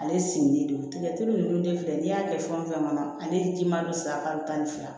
Ale sigilen don tigɛteli nunnu de filɛ n'i y'a kɛ fɛn o fɛn kɔnɔ ale ti maa bɛ sara kalo tan ni fila